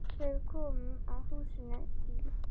Þegar við komum að húsinu í